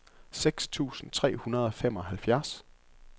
seks tusind tre hundrede og femoghalvfjerds